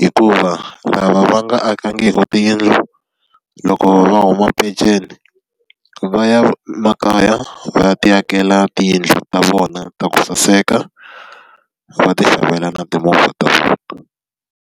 hikuva lava va nga akangiki tiyindlu, loko va huma penceni va ya makaya va ya ti akela tiyindlu ta vona ta ku saseka. Va ti xavela na timovha .